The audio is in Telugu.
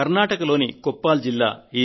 కర్ణాటకలోని కొప్పాల్ జిల్లా